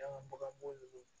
Dangabaga b'o ninnu